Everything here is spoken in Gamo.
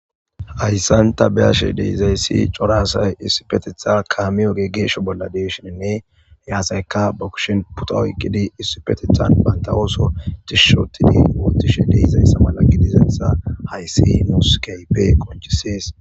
Hayssan ta be7ashe dizayssi cora asay issipeththetan kaame oge geesho bollan de7ishininne he asaykka ba kushenine pituwa oyqqidi tishshi ooththidi ooththishe de7izayssa mala gidizayssa hayssi nus keehippe qonccisees.